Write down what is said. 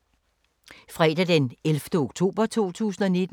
Fredag d. 11. oktober 2019